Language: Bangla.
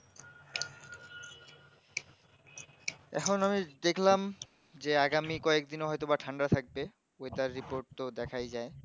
এখন আমি দেখলাম যে আগামী কয়েক দিনও হয়তো ঠান্ডা থাকবে weather report তো দেখায় যায়